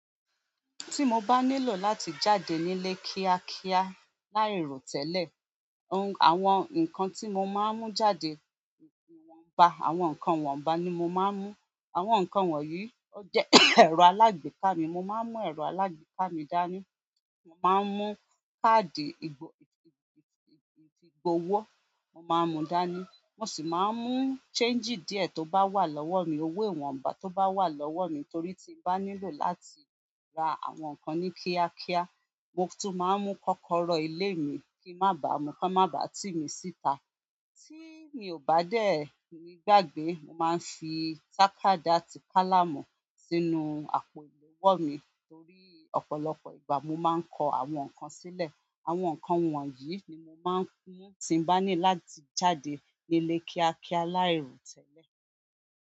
Tí mo bá nílò láti jáde nílé kíákíá láì rò tẹ́lẹ̀, àwọn nǹkan tí mo máa ń mú jáde, ìwọ̀nba, àwọn nǹkan wọ̀nba ni mo máa ń mú. Àwọn nǹkan wọ̀nyí, ó jẹ́ ẹ̀rọ alágbèéká mi, mo máa ń mú ẹ̀rọ alágbèéká mi dání, mo máa ń mú káàdì ìgb-ìgb-ìgb-ìgb-ìgbowó, mo máa ń mú dání, mo sì máa ń mú ṣéńjì díẹ̀ tó bá wà lọ́wọ́ mi, owó ìwọ̀nba tó bá wà lọ́wọ́ mi torí tí mo bá nílò láti ra àwọn nǹkan ní kíákíá, mo tún máa ń mú kọ́kọ́rọ́ ilé mi kí má ba mu, kí a má ba tí mi síta. Tí mi ò bá dẹ̀ ní gbàgbé, mo máa ń fi tàkádà àti kálàmù sínú àpò ìléwọ́ mi torí ọ̀pọ̀lọpọ̀ ìgbà mo máa ń kọ àwọn nǹkan sílẹ̀. Àwọn nǹkan wọ̀nyí ni mo máa ń mú tí n bá ní láti jáde nílé kíákíá láì rò tẹ́lẹ̀.